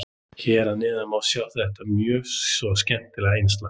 Hér að neðan má sjá þetta mjög svo skemmtilega innslag.